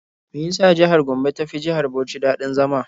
Me ya sa jihar Bauch ta fi jihar Gombe daɗin zama?